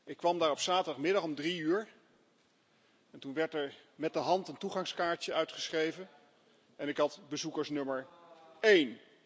Ik kwam daar op zaterdagmiddag om drie uur en toen werd er met de hand een toegangskaartje uitgeschreven en ik had bezoekersnummer één.